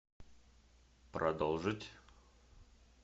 продолжить